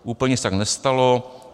Úplně se tak nestalo.